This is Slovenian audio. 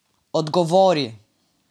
Odgovori!